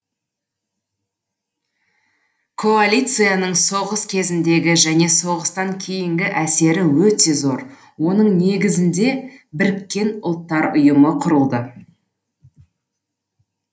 коалицияның соғыс кезіндегі және соғыстан кейінгі әсері өте зор оның негізінде біріккен ұлттар ұйымы құрылды